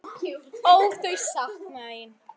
Ó, þau sakna þín.